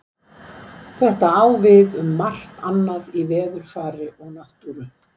Þetta á við um margt annað í veðurfari og náttúru.